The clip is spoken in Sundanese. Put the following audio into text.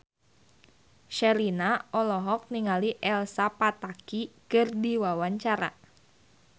Sherina olohok ningali Elsa Pataky keur diwawancara